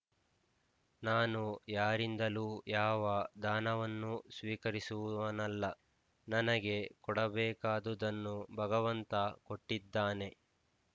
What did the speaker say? ನಾನು ಯಾರಿಂದಲೂ ಯಾವ ದಾನವನ್ನೂ ಸ್ವೀಕರಿಸುವವನಲ್ಲ ನನಗೆ ಕೊಡಬೇಕಾದುದನ್ನು ಭಗವಂತ ಕೊಟ್ಟಿದ್ದಾನೆ